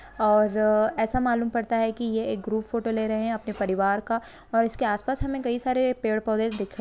ओर ऐसा मालूम पड़ता है की ये एक ग्रुप फोटो ले रहे है अपने परिवार का और इसके आसपास हमें कई सारे पेड़ पौधे दिख रहे है।